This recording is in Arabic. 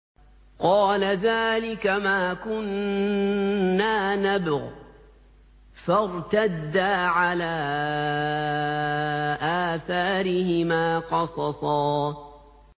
قَالَ ذَٰلِكَ مَا كُنَّا نَبْغِ ۚ فَارْتَدَّا عَلَىٰ آثَارِهِمَا قَصَصًا